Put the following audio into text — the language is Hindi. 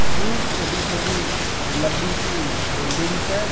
दूर छोटी छोटी लंबी सी बिल्डिंग्स है।